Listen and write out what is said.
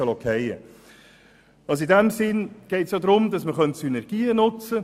Dabei könnte man Synergien nutzen.